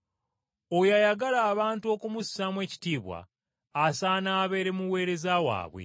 Oyo ayagala abantu okumussaamu ekitiibwa. Asaana abeere muweereza waabwe.